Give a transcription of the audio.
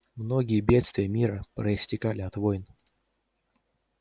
многие бедствия мира проистекали от войн